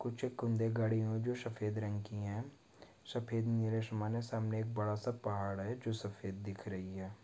कुछ हुए है जो सफ़ेद रंग की है सफ़ेद सामने एक बड़ा- सा पहाड़ है जो सफ़ेद दिख रही हैं।